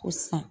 Ko san